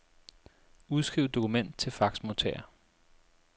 Udskriv dokument til faxmodtager.